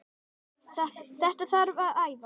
Þetta þarf að æfa.